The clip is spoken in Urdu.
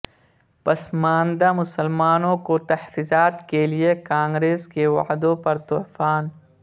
پسماندہ مسلمانوں کو تحفظات کے لئے کانگریس کے وعدوں پر طوفان